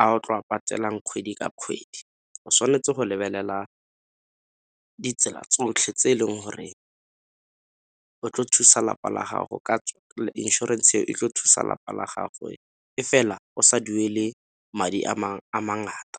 a o tlo go a patelang kgwedi ka kgwedi. O tshwanetse go lebelela ditsela tsotlhe tse e leng gore inšorense eo e tlo thusa lapa la gagwe e fela o sa duele madi a a mangata.